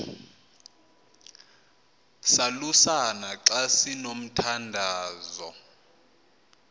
salusana xa sinomthandazo